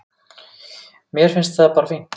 Mér finnst það bara fínt.